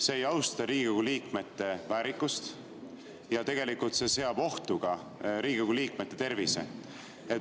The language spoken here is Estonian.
See ei austa Riigikogu liikmete väärikust ja tegelikult seab ohtu ka Riigikogu liikmete tervise.